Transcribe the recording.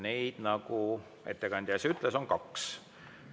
Neid, nagu ettekandja ütles, on kaks.